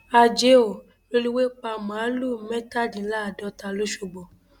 àjẹ ò rélùwéè pa màálùú mẹtàdínláàádọta lọṣọgbó